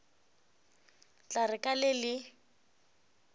tla re ka le le